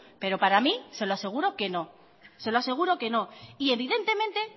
pero para mí se lo aseguro que no se lo aseguro que no y evidentemente